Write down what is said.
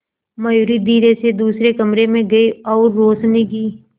मयूरी धीरे से दूसरे कमरे में गई और रोशनी की